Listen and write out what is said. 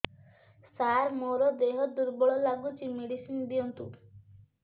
ସାର ମୋର ଦେହ ଦୁର୍ବଳ ଲାଗୁଚି ମେଡିସିନ ଦିଅନ୍ତୁ